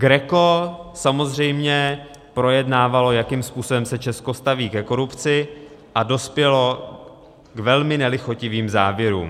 GRECO samozřejmě projednávalo, jakým způsobem se Česko staví ke korupci, a dospělo k velmi nelichotivým závěrům.